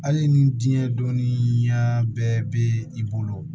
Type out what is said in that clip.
Hali ni diɲɛ dɔnniya bɛɛ bɛ i bolo